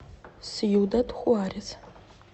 сьюдад хуарес